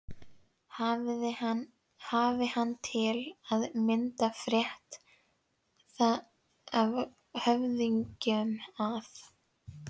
Hafi hann til að mynda frétt það af höfðingjum að